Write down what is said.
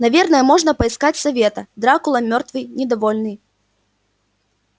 наверное можно поискать совета дракула мёртвый недовольный